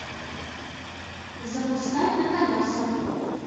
запускай на колесах